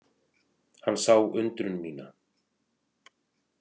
Hann sá undrun mína.